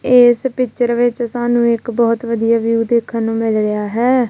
ਏਸ ਪਿਕਚਰ ਵਿੱਚ ਸਾਨੂੰ ਇੱਕ ਬੋਹੁਤ ਵਧੀਆ ਵਿਊ ਦੇਖਨ ਨੂੰ ਮਿਲ ਰਿਹਾ ਹੈ।